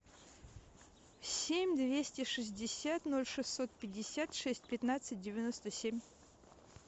семь двести шестьдесят ноль шестьсот пятьдесят шесть пятнадцать девяносто семь